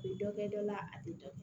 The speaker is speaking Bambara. U bɛ dɔ kɛ dɔ la a tɛ dɔ bɔ